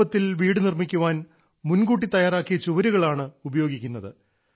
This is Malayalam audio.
എളുപ്പത്തിൽ വീട് നിർമ്മിക്കാൻ മുൻകൂട്ടി തയ്യാറാക്കിയ ചുവരുകൾ ആണ് ഉപയോഗിക്കുന്നത്